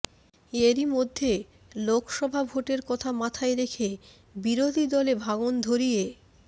এরই মধ্যে লোকসভা ভোটের কথা মাথায় রেখে বিরোধী দলে ভাঙন ধরিয়ে